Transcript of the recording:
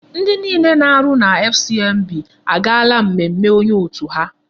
Ndi niile na-arụ na FCMB agaala mmemme onye otu ha.